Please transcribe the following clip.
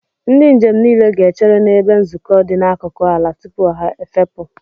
Ndị njem niile ga-echere n'ebe nzukọ dị n'akụkụ ala tupu ha efepụ.